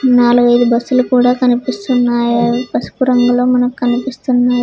నాలుగైదు బస్సులు కూడా కనిపిస్తున్నాయా పసుపు రంగులో మనకు కనిపిస్తున్నాయి.